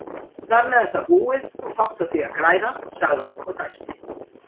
Þarmeð er það búið og fátt á því að græða, sagði hann og dæsti.